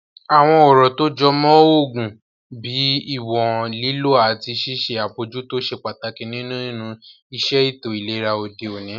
Àwọn ọ̀rọ̀ tó jọ mọ́ oògùn bíi ìwọ̀n lílò àti ṣíṣe àbojútó ṣe pàtàkì nínu iṣẹ́ ètò ìlera òde òní